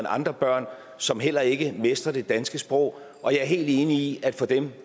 andre børn som heller ikke mestrer det danske sprog og jeg er helt enig i at for dem